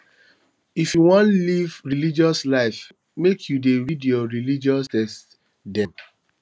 if you wan live righteous life make you dey read your religious text dem